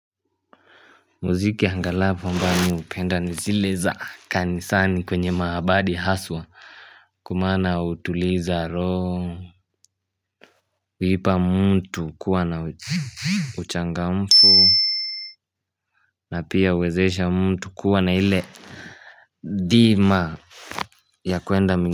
Muziki angalavu ambao mimi hupenda ni zile za kanisani kwenye maabadi haswa Kwa maana utuliza roho kuipa mtu kuwa na uchangamfu na pia uwezesha mtu kuwa na ile dhima ya kuenda mingi.